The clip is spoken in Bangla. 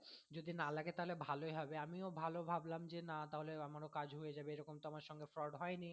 যদি না লাগে তাহলে ভালোই হবে আমিও ভালো ভাবলাম যে না তাহলে ভালো আমারও কাজ হয়ে যাবে তাহলে আমার সঙ্গে fraud হয়নি।